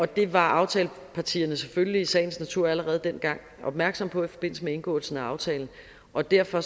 det var aftalepartierne selvfølgelig i sagens natur allerede dengang opmærksomme på i forbindelse med indgåelsen af aftalen og derfor